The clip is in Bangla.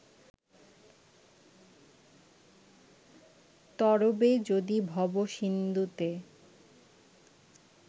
তরবে যদি ভবসিন্ধুতে